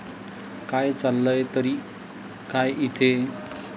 काय, चाललंय तरी काय इथे?